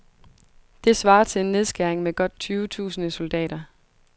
Det svarer til en nedskæring med godt tyve tusinde soldater.